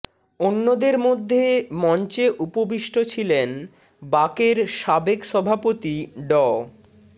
অন্যদের মধ্যে মঞ্চে উপবিষ্ট ছিলেন বাকের সাবেক সভাপতি ড